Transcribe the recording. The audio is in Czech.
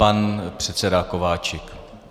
Pan předseda Kováčik.